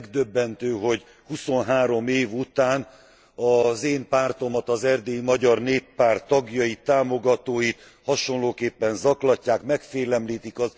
Megdöbbentő, hogy huszonhárom év után az én pártomat, az Erdélyi Magyar Néppárt tagjait, támogatóit hasonlóképpen zaklatják, megfélemlítik.